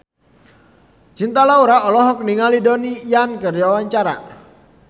Cinta Laura olohok ningali Donnie Yan keur diwawancara